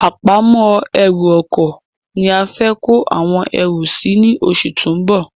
Àpamọ́ ẹrù ọkọ̀ ni a fẹ kó àwọn erù sì ni oṣù tó ń bọ̀